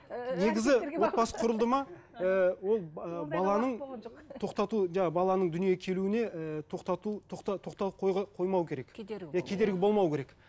ыыы негізі отбасы құрылды ма ыыы ол ы баланың тоқтату баланың дүниеге келуіне ііі тоқтату қоймау керек кедергі иә кедергі болау керек